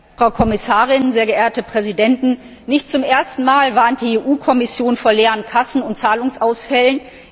Herr Präsident, Frau Kommissarin, sehr geehrte Präsidenten! Nicht zum ersten Mal warnt die EU Kommission vor leeren Kassen und Zahlungsausfällen.